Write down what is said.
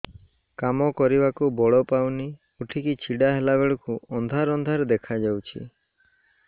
କାମ କରିବାକୁ ବଳ ପାଉନି ଉଠିକି ଛିଡା ହେଲା ବେଳକୁ ଅନ୍ଧାର ଅନ୍ଧାର ଦେଖା ଯାଉଛି